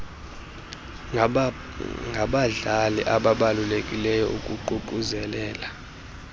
ngabadlali ababalulekileyo ukuququzelela